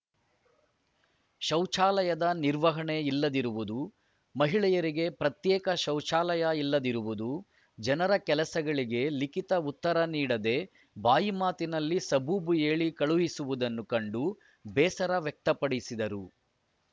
ಶೌಚಾಲಯದ ನಿರ್ವಹಣೆ ಇಲ್ಲದಿರುವುದು ಮಹಿಳೆಯರಿಗೆ ಪ್ರತ್ಯೇಕ ಶೌಚಾಲಯ ಇಲ್ಲದಿರುವುದು ಜನರ ಕೆಲಸಗಳಿಗೆ ಲಿಖಿತ ಉತ್ತರ ನೀಡದೆ ಬಾಯಿ ಮಾತಿನಲ್ಲಿ ಸಬೂಬು ಹೇಳಿ ಕಳಿಸುವುದನ್ನು ಕಂಡು ಬೇಸರ ವ್ಯಕ್ತಪಡಿಸಿದರು